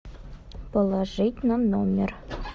положить на номер